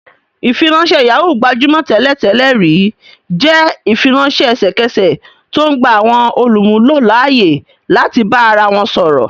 Ìfiránṣẹ́ Yahoo, gbajúmọ̀ tẹ́lẹ̀ tẹ́lẹ̀ rí, jẹ́ ìfiránṣẹ́ ẹsẹ̀kẹsẹ̀ tó ń gba àwọn olùmúlò láyè láti bá ara wọn sọ̀rọ̀